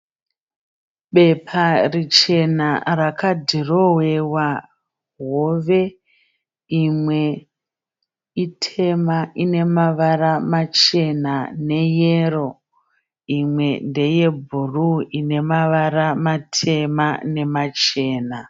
Bepa richena rakadhirowewa hove. Imwe itema inenamavara machena neyero. Imwe ndeye bhuruwu inemavara matema nemachena.